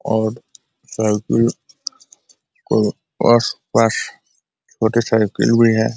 और साइकिल को आस - पास मोटरसाइकिल भी है।